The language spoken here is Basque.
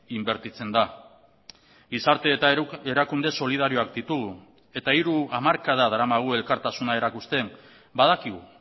inbertitzen da gizarte eta erakunde solidarioak ditugu eta hiru hamarkada daramagu elkartasuna erakusten badakigu